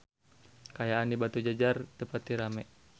Kaayaan di Batujajar teu pati rame